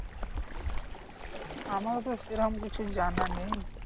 আমারও তো সেরকম কিছু জানা নেই